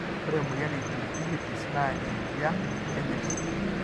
ore emoyian e Gingivitis na ejian enyirt.